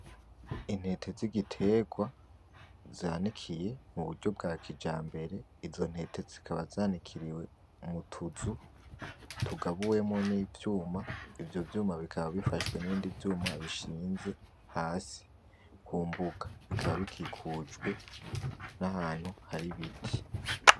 Intete z'igiterwa zanikiye mu buryo bwa kijambere, izo ntete zikaba zanikiriwe mu tuzu tugabuwemwo n'ivyuma, ivyo vyuma bikaba bifashwe n'ibindi vyuma bishinze hasi kumbuga bikaba bikikujwe nahantu hari ibiti.